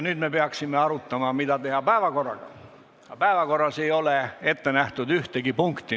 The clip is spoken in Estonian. Nüüd me peaksime arutama, mida teha päevakorraga, aga päevakorras ei ole ette nähtud ühtegi punkti.